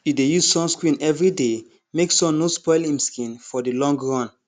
e dey use sunscreen every day make sun no spoil im skin for the long run